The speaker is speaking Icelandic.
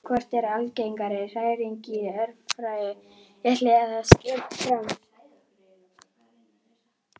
Hvort eru algengari hræringar, í Öræfajökli eða í stjórn Fram?